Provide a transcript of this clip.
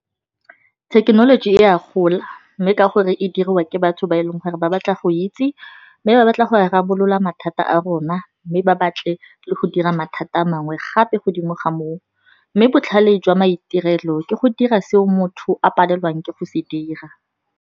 Thekenoloji e a gola, mme ka gore e diriwa ke batho ba e leng gore ba batla go itse, mme ba batla go rarabolola mathata a rona. Mme ba batle le go dira mathata a mangwe gape, godimo ga moo mme botlhale jwa maitirelo ke go dira seo motho a palelwang ke go se dira.